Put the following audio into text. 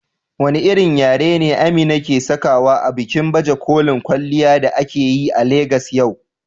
Wane irin yari ne Amina ke sakawa a bikin baje kolin kwalliya da aka yi a Legas yau?